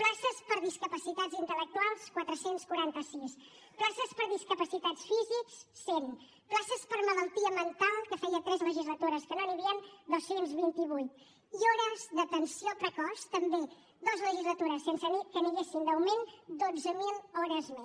places per a discapacitats intel·lectuals quatre cents i quaranta sis places per a discapacitats físics cent places per a malaltia mental que feia tres legislatures que no n’hi havien dos cents i vint vuit i hores d’atenció precoç també dues legislatures sense que n’hi haguessin d’augment dotze mil hores més